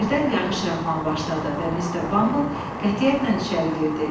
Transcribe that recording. Birdən yağış yağmağa başladı və Mister Bumble qətiyyətlə içəri girdi.